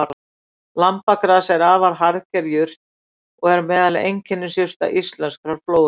Lambagras er afar harðger jurt og er meðal einkennisjurta íslenskrar flóru.